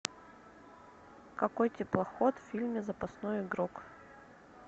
какой теплоход в фильме запасной игрок